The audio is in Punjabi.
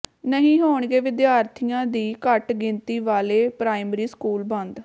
ਨਹੀਂ ਹੋਣਗੇ ਵਿਦਿਆਰਥੀਆਂ ਦੀ ਘੱਟ ਗਿਣਤੀ ਵਾਲੇ ਪ੍ਰਾਇਮਰੀ ਸਕੂਲ ਬੰਦ